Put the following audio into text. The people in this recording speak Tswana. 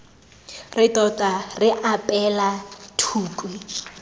re tota re apeela thukhwi